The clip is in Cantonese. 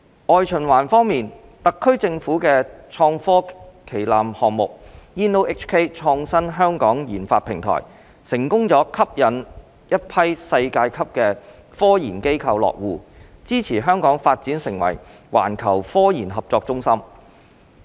外循環方面，特區政府的創科旗艦項目 "InnoHK 創新香港研發平台"成功吸引了一批世界級的科研機構落戶，支持香港發展成為環球科研合作中心。